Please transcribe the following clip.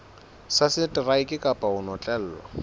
ya seteraeke kapa ho notlellwa